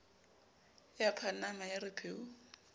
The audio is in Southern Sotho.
ya panama ya re pheu